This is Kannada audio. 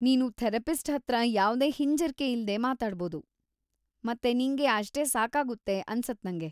ನೀನು ಥೆರಪಿಸ್ಟ್‌ ಹತ್ರ ಯಾವ್ದೇ ಹಿಂಜರ್ಕೆ ಇಲ್ದೇ ಮಾತಾಡ್ಬೋದು ಮತ್ತೆ ನಿಂಗೆ ಅಷ್ಟೇ ಸಾಕಾಗುತ್ತೆ ಅನ್ಸತ್ನಂಗೆ.